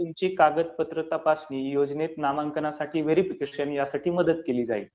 तुमची कागदपत्र तपासणी, योजनेत नामांकनासाठी व्हेरिफिकेशन ह्यासाठी मदत केली जाईल.